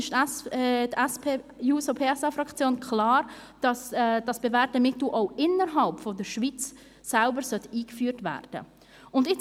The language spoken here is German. Deshalb ist die SP-JUSO-PSA-Fraktion klar dafür, dass dieses bewährte Mittel auch innerhalb der Schweiz eingeführt werden soll.